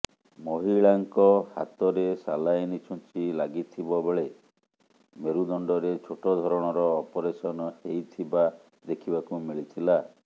ମହିଳାଙ୍କ ହାତରେ ସାଲାଇନ ଛୁଞ୍ଚି ଲାଗିଥିବ ବେଳେ ମେରୁଦଣ୍ଡରେ ଛୋଟ ଧରଣର ଅପରେସନ ହେଇଥିବା ଦେଖିବାକୁ ମିଳିଥିଲା